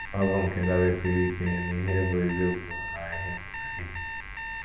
Ọ bụ nke dabesiiri ike n’ihe bụ́ eziokwu na n’ihe pụtara ìhè.